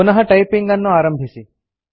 ಪುನಃ ಟೈಪಿಂಗ್ ಅನ್ನು ಆರಂಭಿಸಿ